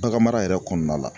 Bagan mara yɛrɛ kɔnɔna la.